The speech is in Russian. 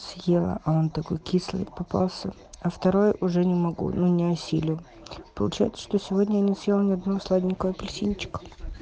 съела а он такой кислый попался а второй уже не могу ну не осилю получается что сегодня я не съел ни одного сладенького апельсинчика